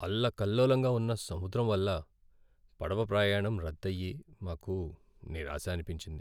అల్లకల్లోలంగా ఉన్న సముద్రం వల్ల పడవ ప్రయాణం రద్దయి, మాకు నిరాశ అనిపించింది.